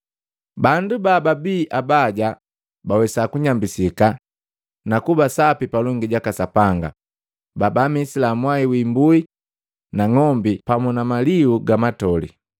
Bandu bababii abaja bawesa kunyambisika na kuba sapi palongi jaka Sapanga pabaamisila mwai wii imbui na ng'ombi pamu na maliu ga matoli.